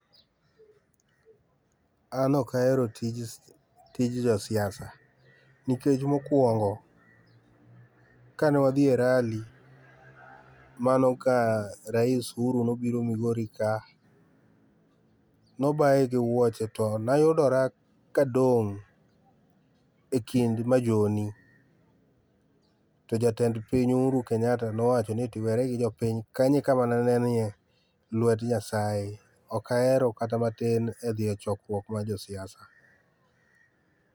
An ok ahero tij, tij josiasa nikech mokuongo kane wadhi e rally mano ka rais Uhuru nobiro Migori ka, nobaye gi wuoche to ne ayudora ka adong e kind majoni, to jatend piny Uhuru Kenyatta nowachoni eti weri gi jopiny kanyo ekama ne anenie lwet nyasaye, ok ahero kata matin e dhie chokruok mar jo siasa